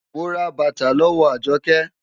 Mo ra bàtà lọ́wọ́ Àjọkẹ́.